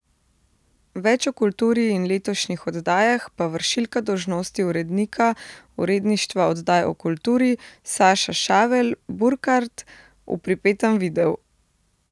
Več o kulturi in letošnjih oddajah pa vršilka dolžnosti urednika Uredništva oddaj o kulturi Saša Šavel Burkart v pripetem videu.